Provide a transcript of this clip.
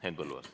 Henn Põlluaas.